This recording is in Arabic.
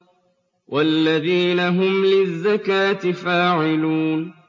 وَالَّذِينَ هُمْ لِلزَّكَاةِ فَاعِلُونَ